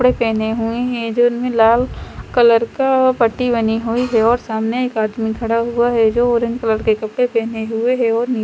कपड़े पहने हुए हैं जो इनमे लाल कलर का पट्टी बनी हुई है और सामने एक आदमी खड़ा हुआ है जो ऑरेंज कलर के कपड़े पहने हुए है और नी --